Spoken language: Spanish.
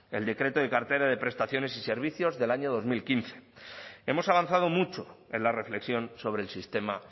el decreto de cartera de prestaciones y servicios del año dos mil quince hemos avanzado mucho en la reflexión sobre el sistema